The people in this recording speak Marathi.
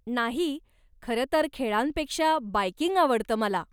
नाही, खरंतर खेळांपेक्षा बायकिंग आवडतं मला.